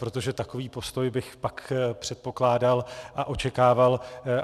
Protože takový postoj bych pak předpokládal a očekával.